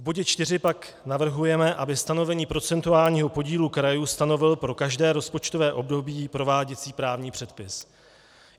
V bodě čtyři pak navrhujeme, aby stanovení procentuálního podílu krajů stanovil pro každé rozpočtové období prováděcí právní předpis.